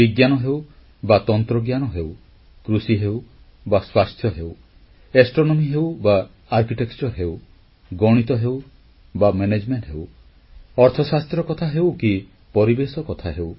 ବିଜ୍ଞାନ ହେଉ ବା ତନ୍ତ୍ରଜ୍ଞାନ ହେଉ କୃଷି ହେଉ ବା ସ୍ୱାସ୍ଥ୍ୟ ହେଉ ଜ୍ୟୋତିର୍ବିଜ୍ଞାନ ହେଉ ବା ସ୍ଥାପତ୍ୟ ହେଉ ଗଣିତ ହେଉ ବା ମେନେଜମେଂଟ ହେଉ ଅର୍ଥଶାସ୍ତ୍ର କଥା ହେଉ କି ପରିବେଶ କଥା ହେଉ